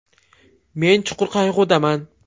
Men chuqur qayg‘udaman!